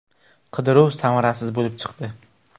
Qidiruv samarasiz bo‘lib chiqdi.